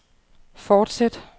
fortsæt